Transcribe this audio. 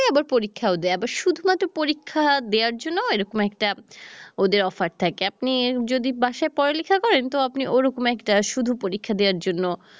আবার পরীক্ষাও দেয় আবার শুধুমাত্র পরীক্ষা দেয়ার জন্য এরকম একটা ওদের offer থাকে আপনি যদি বাসায় পড়ালেখা করেন তো আপনি ওরকম একটা শুধু পরীক্ষা দেয়ার জন্য